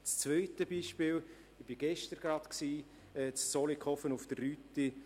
Das zweite Beispiel ist in Zollikofen auf der Rütti.